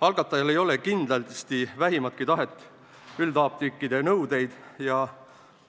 Algatajal ei ole kindlasti vähimatki tahet üldapteekide nõudeid ja